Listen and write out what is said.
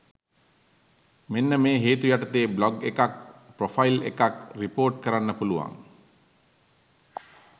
මෙන්න මේ හේතු යටතේ බ්ලොග් එකක් ප්‍රොෆයිල් එකක් රිපොර්ට් කරන්න පුළුවන්.